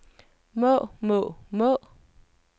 må må må